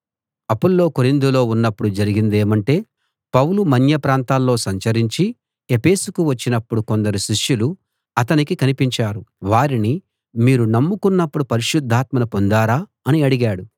అపొల్లో కొరింథులో ఉన్నప్పుడు జరిగిందేమంటే పౌలు మన్య ప్రాంతాల్లో సంచరించి ఎఫెసుకు వచ్చినప్పుడు కొందరు శిష్యులు అతనికి కనిపించారు వారిని మీరు నమ్ముకున్నప్పుడు పరిశుద్ధాత్మను పొందారా అని అడిగాడు